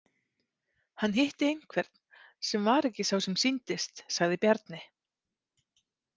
Hann hitti einhvern sem var ekki sá sem sýndist, sagði Bjarni.